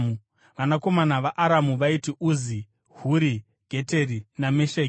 Vanakomana vaAramu vaiti: Uzi, Huri, Geteri naMesheki.